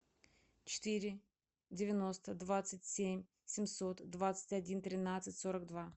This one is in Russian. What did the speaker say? четыре девяносто двадцать семь семьсот двадцать один тринадцать сорок два